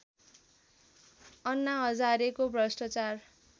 अन्ना हजारेको भ्रष्टाचार